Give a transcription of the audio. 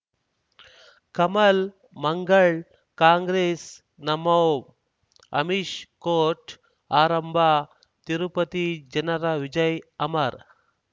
ಕಮಲ್ ಮಂಗಳ್ ಕಾಂಗ್ರೆಸ್ ನಮಃ ಅಮಿಷ್ ಕೋರ್ಟ್ ಆರಂಭ ತಿರುಪತಿ ಜನರ ವಿಜಯ್ ಅಮರ್